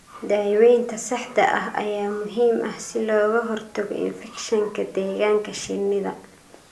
Daawaynta saxda ah ayaa muhiim ah si looga hortago infekshanka deegaanka shinnida.